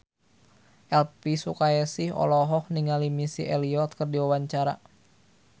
Elvy Sukaesih olohok ningali Missy Elliott keur diwawancara